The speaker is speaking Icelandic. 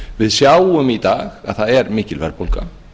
við sjáum í dag að það er mikil verðbólga